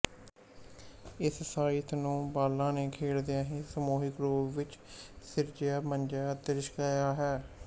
ਇਸ ਸਾਹਿਤ ਨੂੰ ਬਾਲਾਂ ਨੇ ਖੇਡਦਿਆਂ ਹੀ ਸਮੂਹਿਕ ਰੂਪ ਵਿੱਚ ਸਿਰਜਿਆ ਮਾਂਜਿਆ ਅਤੇ ਲਿਸ਼ਕਾਇਆ ਹੈ